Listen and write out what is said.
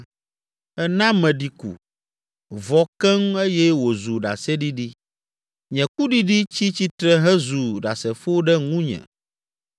Èna meɖi ku, vɔ keŋ eye wòzu ɖaseɖiɖi, nye kuɖiɖi tsi tsitre hezu ɖasefo ɖe ŋunye.